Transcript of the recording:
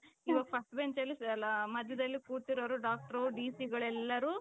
first benchಅಲ್ಲಿ ಮಧ್ಯದಲ್ಲಿ ಕೂತಿರೋರು doctor D Cಗಳೆಲ್ಲಾರು .